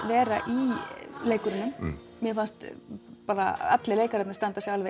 vera í leikurunum mér fannst bara Alli leikararnir standa sig